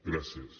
gràcies